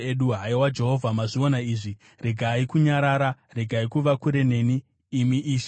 Haiwa Jehovha, mazviona izvi; regai kunyarara. Regai kuva kure neni, imi Ishe.